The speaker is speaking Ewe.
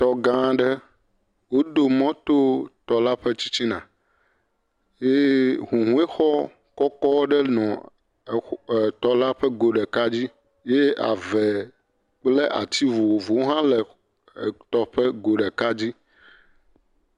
Tɔ gã aɖe wodo mɔ to tɔ la ƒe tsitsina eye hũhɔexɔ kɔkɔ aɖe nɔ eɔxɔ la ƒe go ɖeka dzi eye ave kple ati vovovowo hã le etɔ ƒe go ɖeka dzi.